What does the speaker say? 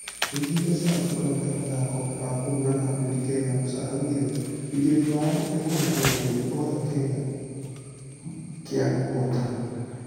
Mũigi mbeca wa kĩũngano gĩa mũthako wa kũhũrana ngundi kenya musa araugire ũigĩrĩri wao nĩ kũhe arũgamĩrĩri othe kanya kaigqnqnu kũhotana .....